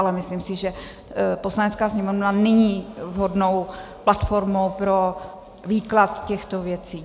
Ale myslím si, že Poslanecká sněmovna není vhodnou platformou pro výklad těchto věcí.